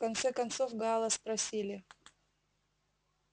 в конце концов гаала спросили